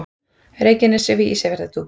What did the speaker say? Reykjanesi við Ísafjarðardjúp.